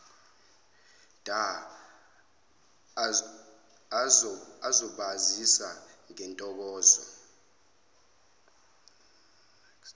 dha azobasiza ngentokozo